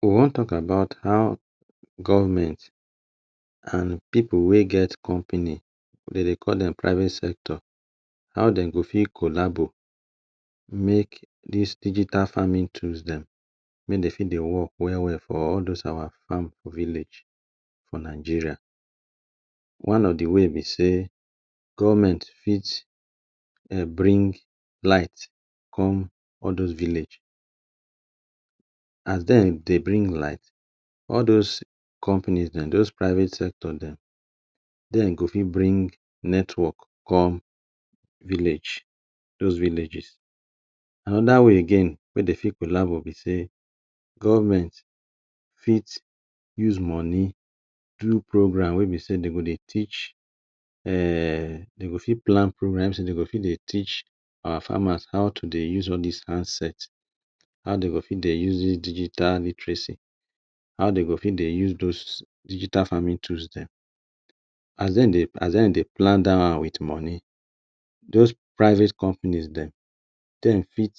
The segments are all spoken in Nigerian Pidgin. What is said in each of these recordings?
We wan talk about how government and pipu wey get company, dem dey call dem private sector, how dem go take collabo make dis digital farming tools dem, make dey fit dey work well well for all those our farm village for Nigeria. One of de way be sey government fit um bring light come all those village. As dem dey bring light, all those companies dem those private sector dem, dem go fit bring network come village, those villages. Another way again wey dey fit collabo be sey government fit use money do program wey be sey dey go dey teach um dey go fit plan programs, dey go fit dey teach our farmers how to dey use all dis handset. How dey go fit dey use dis digital literacy, how dey go fit dey use those digital farming tools dem. As dem dey, as dem dey plan dat one wit money, those private companies dem, dem fit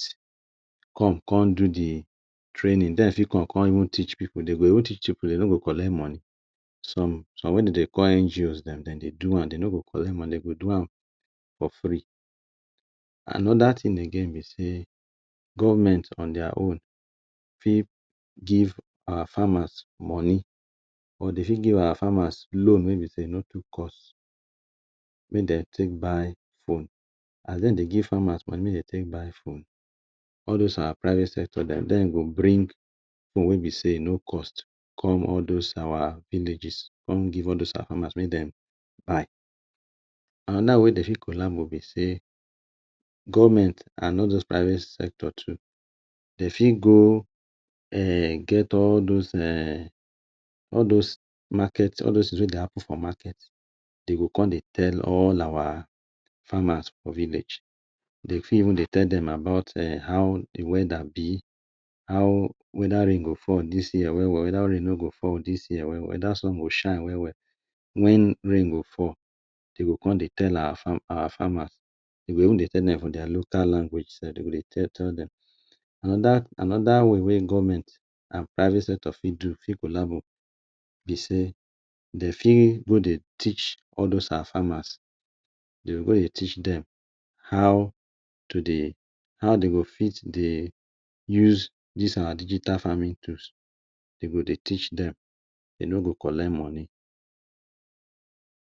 come con do de training. Dem fit come con even teach pipu. Dey go even teach pipu, dey no go collect money. Some, some wey dem dey call NGOs dem, dem dey do am, dey no go collect money. Dem go do am for free. Another thing again be sey government on their own fit give our farmers money or dey fit give our farmers loan wey be sey e no too cost, make dem take buy phone. As dem dey give farmers money make dem take buy phone, all those our private sector dem, dem go bring phone wey be sey e no cost come all those our villages come give all those our farmers make dem buy. Another way dey fit collabo be sey government and all those sector too, dey fit go um get all those um all those market, all those things wey dey happen for market, dey go come dey tell all our farmers for village. Dey fit even dey tell dem about um how de weather be, how whether rain go fall well well dis year, whether rain no go fall well well dis year, whether sun go shine well well, wen rain go fall; dey go come dey tell our farmers, dey go even dey tell dem for our local language sef, dey go dey tell tell dem. Another, another way wey government and private sector fit do, fit collabo be sey dey fit go dey teach all those our farmers, dey go go dey teach dem how to dey, how dey go fit dey use dis our digital farming tools. Dey go dey teach dem, dey no go collect money.